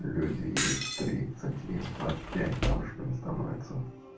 люди и в тридцать и в двадцать пять бабушками становятся